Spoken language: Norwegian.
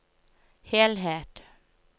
helhet